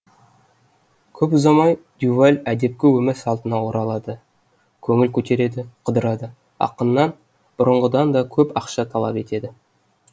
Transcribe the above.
көп ұзамай дюваль әдепкі өмір салтына оралады көңіл көтереді қыдырады ақыннан бұрынғыдан да көп ақша талап етеді